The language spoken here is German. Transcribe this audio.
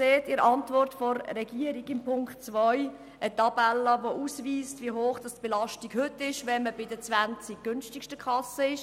Sie sehen in der Antwort der Regierung zu Punkt 2 eine Tabelle, die ausweist, wie hoch die Belastung heute bei den 20 günstigsten Kassen ist.